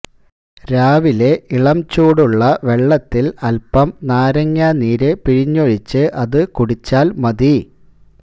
രാവിലെ ഇളം ചൂടുള്ള വെള്ളത്തില് അല്പം നാരങ്ങ നീര് പിഴിഞ്ഞൊഴിച്ച് അത് കുടിച്ചാല് മതി